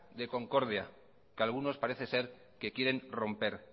de concordia que algunos parece ser que quieren romper